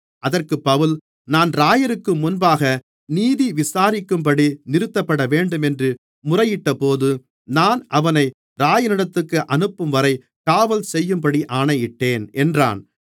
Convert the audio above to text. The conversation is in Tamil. அதற்குப் பவுல் தான் இராயருக்கு முன்பாக நீதி விசாரிக்கப்படும்படி நிறுத்தப்படவேண்டுமென்று முறையிட்டபோது நான் அவனை இராயனிடத்திற்கு அனுப்பும்வரை காவல் செய்யும்படி ஆணையிட்டேன் என்றான்